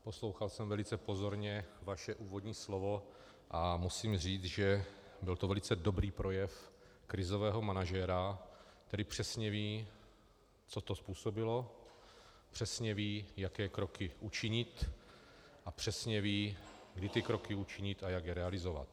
Poslouchal jsem velice pozorně vaše úvodní slovo a musím říct, že to byl velice dobrý projev krizového manažera, který přesně ví, co to způsobilo, přesně ví, jaké kroky učinit, a přesně ví, kdy ty kroky učinit a jak je realizovat.